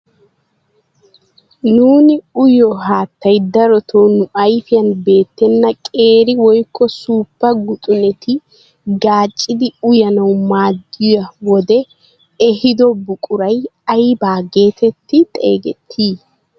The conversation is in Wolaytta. Nuuni uyiyo haattay darotoo nu ayfiyaan beettena qeeri woykko suuppa guxuneta gaaccidi uyanawu maaddiyaa wodee ehiido buquray ayba getetti xeegettii?